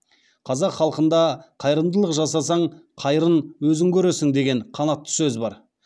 қазақ халқында қайырымдылық жасасаң қайырын өзің көресің деген қанатты сөз бар